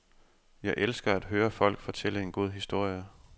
Jeg elsker at høre folk fortælle en god historie.